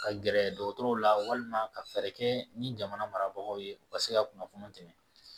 Ka gɛrɛ dɔgɔtɔrɔw la walima ka fɛɛrɛ kɛ ni jamana marabagaw ye u ka se ka kunnafoni tɛmɛ